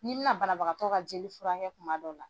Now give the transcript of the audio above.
N'i bina banabagatɔ ka jeli furakɛ kuma min dɔ la.